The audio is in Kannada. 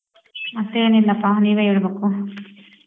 ಮತ್ತೇನಿಲ್ಲಪ ನೀವೇ ಹೇಳ್ಬುಕು.